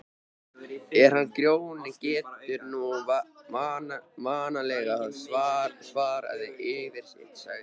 En hann Grjóni getur nú vanalega svarað fyrir sitt, sagði